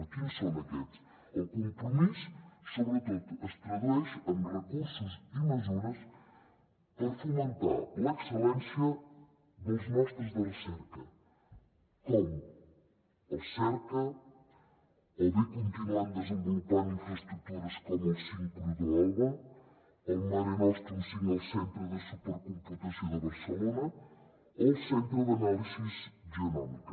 quins són aquests el compromís sobretot es tradueix en recursos i mesures per fomentar l’excel·lència dels nostres centres de recerca com el cerca o bé continuant desenvolupant infraestructures com el sincrotró alba el marenostrum cinc al centre de supercomputació de barcelona o el centre d’anàlisi genòmica